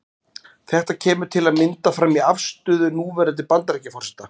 Þetta kemur til að mynda fram í afstöðu núverandi Bandaríkjaforseta.